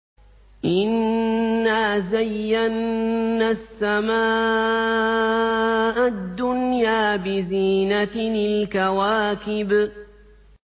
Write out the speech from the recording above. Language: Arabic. إِنَّا زَيَّنَّا السَّمَاءَ الدُّنْيَا بِزِينَةٍ الْكَوَاكِبِ